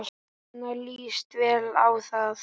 Svenna líst vel á það.